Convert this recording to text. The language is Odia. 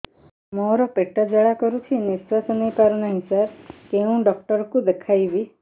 ମୋର ପେଟ ଜ୍ୱାଳା କରୁଛି ନିଶ୍ୱାସ ନେଇ ପାରୁନାହିଁ ସାର କେଉଁ ଡକ୍ଟର କୁ ଦେଖାଇବି